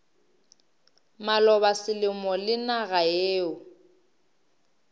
maloba selemo le naga yeo